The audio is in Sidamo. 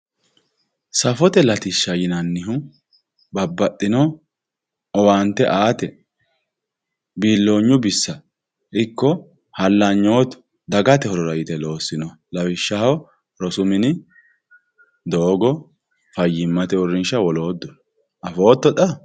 Safote latishsha yinannihu babbaxitino owaante aate biiloonyu biissa ikko hallanyu dagate horo daafira yite loossinoha lawishshaho rosu mini, fayyimmate mini, doogo, fayyimmate uurrinshano woloodduno afootto xa